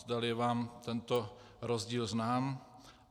Zdali je vám tento rozdíl znám.